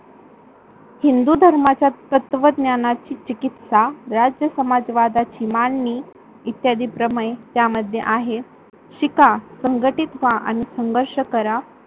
हिंदू धर्माचा तत्वज्ञानाची चीकीस्त्या राज्यसमाजवादाची मांडणी इत्यादी प्रमय या मध्ये आहे. शिखा संघटीत व्हा आणि संघर्ष करा